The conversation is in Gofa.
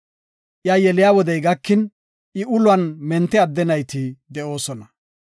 Iwu yelo wodey gakin, I uluwan mente adde nayti de7oosona.